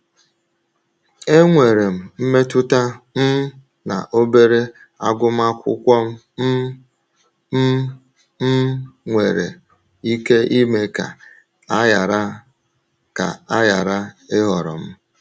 Enwere m mmetụta um na obere agụmakwụkwọ um m um nwere nwere ike ime ka a ghara ka a ghara ịhọrọ m.